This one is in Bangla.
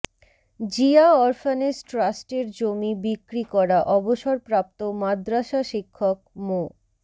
জিয়া অরফানেজ টাস্ট্রের জমি বিক্রি করা অবসরপ্রাপ্ত মাদ্রাসা শিক্ষক মো